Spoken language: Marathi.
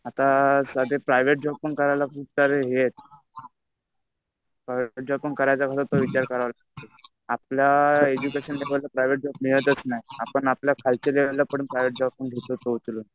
आता सध्या प्रायव्हेट जॉब पण करायला खूप सारे हे आहेत. प्रायव्हेट जॉब पण करायचा म्हणलं तर विचार करावा लागतो. आपल्या एज्युकेशन रिलेटेड प्रायव्हेट जॉब मिळतच नाही. आपण आपल्या खालच्या लेवलला पण प्रायव्हेट जॉब